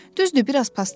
Düzdür, biraz paslanıb.